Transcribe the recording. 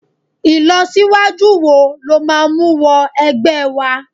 ilọsiwaju wo lo ma mu wọ ẹgbẹ wa